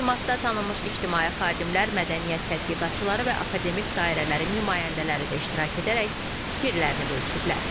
Təqdimatda tanınmış ictimai xadimlər, mədəniyyət tədqiqatçıları və akademik dairələrin nümayəndələri də iştirak edərək fikirlərini bölüşüblər.